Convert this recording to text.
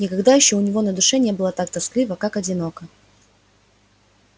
никогда ещё у него на душе не было так тоскливо как одиноко